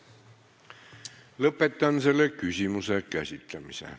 Lõpetan selle küsimuse käsitlemise.